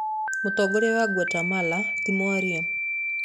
Mũtongoria wa Guatemala ti mwaria.